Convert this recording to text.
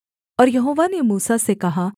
और यहोवा ने मूसा से कहा